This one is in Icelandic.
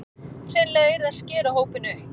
Hreinlega yrði að skera hópinn upp